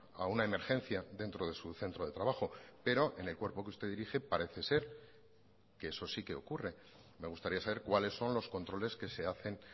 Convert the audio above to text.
a una emergencia dentro de su centro de trabajo pero en el cuerpo que usted dirige parece ser que eso sí que ocurre me gustaría saber cuáles son los controles que se hacen